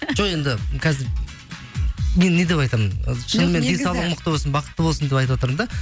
жоқ енді қазір енді не деп айтамын шынымен денсаулығың мықты болсын бақытты болсын деп айтыватырмын да